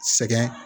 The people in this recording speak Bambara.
Sɛgɛn